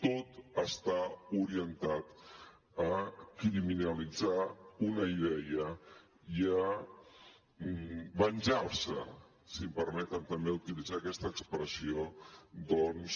tot està orientat a criminalitzar una idea i a venjar se si em permeten utilitzar també aquesta expressió doncs